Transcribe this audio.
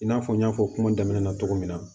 I n'a fɔ n y'a fɔ kuma daminɛ na cogo min na